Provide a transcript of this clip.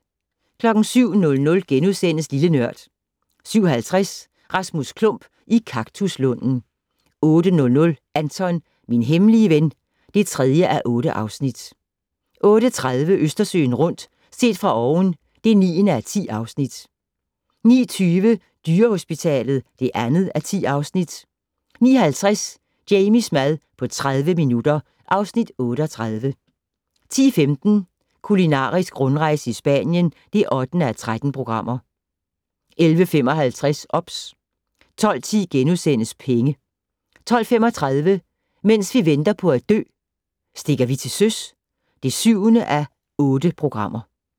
07:00: Lille Nørd * 07:50: Rasmus Klump i kaktuslunden 08:00: Anton - min hemmelige ven (3:8) 08:30: Østersøen rundt - set fra oven (9:10) 09:20: Dyrehospitalet (2:10) 09:50: Jamies mad på 30 minutter (Afs. 38) 10:15: Kulinarisk rundrejse i Spanien (8:13) 11:55: OBS 12:10: Penge * 12:35: Mens vi venter på at dø - Stikker vi til søs (7:8)